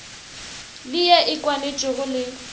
le ye e kwanetšwego le